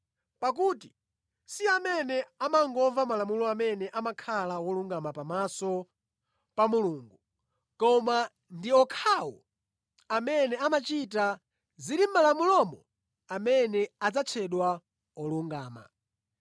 Pakuti si amene amangomva Malamulo amene amakhala wolungama pamaso pa Mulungu, koma ndi okhawo amene amachita zili mʼMalamulomo amene adzatchedwa olungama.